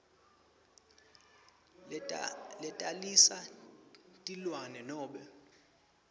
letalisa tilwane nobe